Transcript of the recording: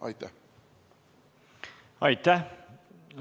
Aitäh!